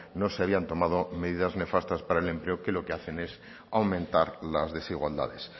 no se habían tomado medidas nefastas para el empleo que lo que hacen es aumentar las desigualdades